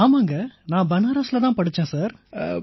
ஆமாங்க நான் பனாரசில தான் படிச்சேன் சார்